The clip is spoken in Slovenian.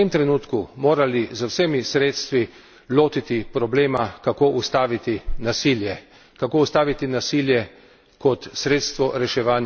Vendarle pa mislim, da se bi v tem trenutku morali z vsemi sredstvi lotiti problema, kako ustaviti nasilje.